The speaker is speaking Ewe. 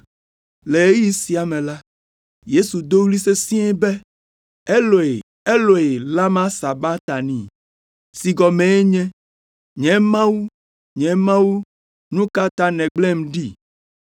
Le ɣeyiɣi sia me la, Yesu do ɣli sesĩe be, “Eloi, Eloi, lama sabaktani?” (si gɔmee nye “Nye Mawu, Nye Mawu, nu ka ta nègblẽm ɖi?”).